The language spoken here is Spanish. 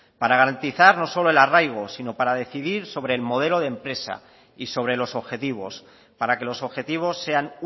para garantizar no solo el arraigo sino para decidir sobre el modelo de empresa y sobre los objetivos para que los objetivos sean